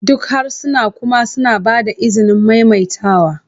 Duk harsuna kuma suna ba da izinin maimaitawa